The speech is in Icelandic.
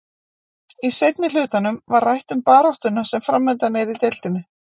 Í seinni hlutanum var rætt um baráttuna sem framundan er í deildinni.